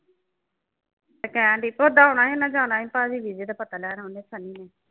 ਇਹ time ਵੀ ਪੁੱਛਦਾ ਹੋਣਾ। ਇਨ੍ਹਾਂ ਜਾਣਾ ਸੀ ਦਾ ਪਤਾ ਲੈਣ ਓਹਨੇ ਸੰਨੀ ਨੇ।